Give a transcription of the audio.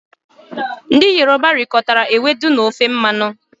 Ndị Yoruba rikọtara ewedu na ofe mmanụ